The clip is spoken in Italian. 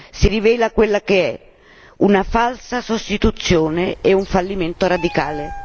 si rivela quella che è una falsa sostituzione e un fallimento radicale.